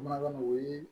Mago ye